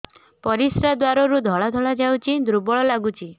ପରିଶ୍ରା ଦ୍ୱାର ରୁ ଧଳା ଧଳା ଯାଉଚି ଦୁର୍ବଳ ଲାଗୁଚି